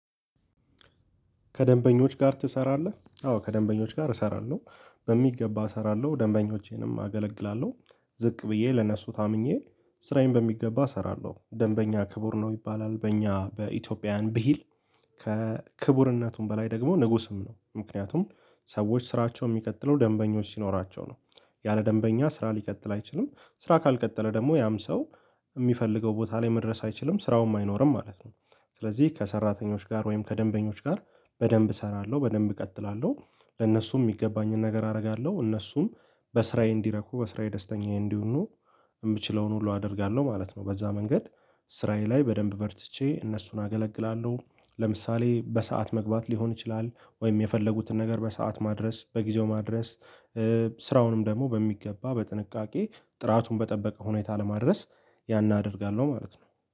ከደንበኞች ጋር ትሰራለህ? አዎ ከደንበኞች ጋር እሰራለሁ በሚገባ እሰራለሁ ደንበኞቼንም አገለግላለሁ። ዝቅ ብዬ ለነሱ ታምኜ ስራዬን በሚገባ እሰራለሁ ደንበኛ ክቡር ነው ይባላል በእኛ በኢትዮጵያውያን ብሂል። ከክቡርነቱም በላይ ደግሞ ንጉስም ነው። ምክንያቱም ሰዎች ስራቸውን የሚቀጥለው ደንበኞች ሲኖራቸው ነው። ያለ ደንበኛ ስራ ሊቀጥል አይችልም። ስራ ካልቀጠለ ደግሞ ያም ሰው የሚፈልገው ቦታ ላይ መድረስ አይችልም ስራውም አይኖርም ማለት ነው። ስለዚህ ከሰራተኞች ጋር ወይም ከደንበኞች ጋር በደንብ እሰራለሁ በደንብ እቀጥላለሁ ለነሱም የሚገባኝን ነገር አደርጋለሁ። እነሱም በስራዬ እንዲረኩ በስራዬ ደስተኛዬ እንዲሆኑ የምችለውን ሁሉ አደርጋለሁ ማለት ነው። በዛ መንገድ ስራዬ ላይ በደንብ በርትቼ እነሱን አገለግላለሁ። ለምሳሌ በሰአት መግባት ሊሆን ይችላል ወይም የፈለጉትን ነገር በሰአት ማድረስ በጊዜው ማድረስ። ስራውንም ደግሞ በሚገባ በጥንቃቄ ጥራቱን በጠበቀ ሁኔታ ለማድረስ ያን አደርጋለሁ ማለት ነው